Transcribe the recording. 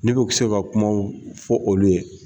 Ne bɛ se ka kuma fɔ olu ye.